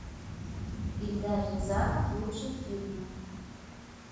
эльдар рязанов лучшие фильмы